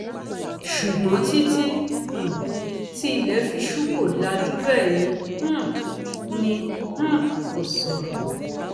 ṣùgbọn títí um tí ilẹ fi ṣú kò lajú bẹẹ ni um ni um kò sọrọ